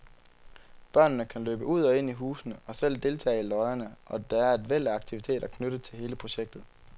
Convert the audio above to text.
Børnene kan løbe ud og ind i husene og selv deltage i løjerne, og der er et væld af aktiviteter knyttet til hele projektet.